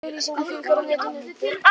Auglýsingum fjölgar á netinu